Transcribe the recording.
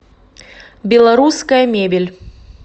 белорусская мебель